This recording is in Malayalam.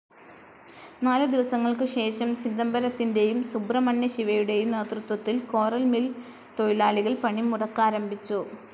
നാലു ദിവസങ്ങൾക്കു ശേഷം, ചിദംബരത്തിന്റേയും, സുബ്രഹ്മണ്യ ശിവയുടേയും നേതൃത്വത്തിൽ കോറൽ മിൽ തൊഴിലാളികൾ പണി മുടക്കാരംഭിച്ചു.